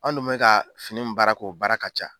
An dun bɛ ka fini min baara k'o baara ka ca.